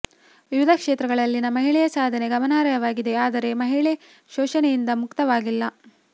ವಿವಿಧ ಕ್ಷೇತ್ರಗಳಲ್ಲಿ ಮಹಿಳೆಯ ಸಾಧನೆ ಗಮನಾರ್ಹವಾಗಿದೆ ಆದರೆ ಮಹಿಳೆ ಶೋಷಣೆಯಿಂದ ಮುಕ್ತವಾಗಿಲ್ಲ